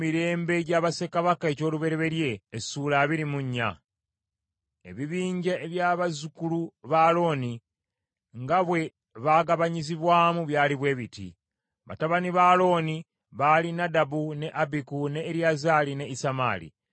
Ebibinja eby’abazzukulu ba Alooni nga bwe bagabanyizibwamu byali bwe biti: Batabani ba Alooni baali Nadabu, ne Abiku, ne Eriyazaali ne Isamaali.